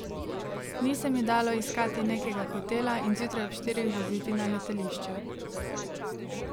Ni se mi dalo iskati nekega hotela in zjutraj ob štirih voziti na letališče.